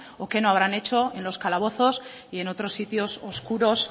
o qué no habrán hecho en los calabozos y en otros sitios oscuros